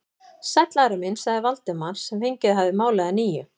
Sæll, Ari minn sagði Valdimar sem fengið hafði málið að nýju.